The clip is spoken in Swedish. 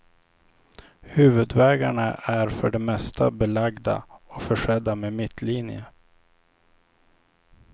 Huvudvägarna är för det mesta belagda och försedda med mittlinje.